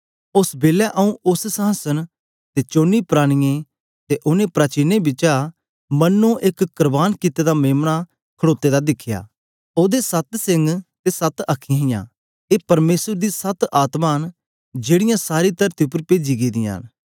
ओस बेलै आऊँ उस्स संहासन ते चोने प्राणियें ते ओनें प्राचीनें बिच मनो एक करबान कित्ते दा मेम्ना खड़ोते दा दिखया ओदे सत सिंग ते सत अखीयाँ हियां ए परमेसर दी सत आत्मा न जेकीयां सारी तरती उपर पेजी गेदियां न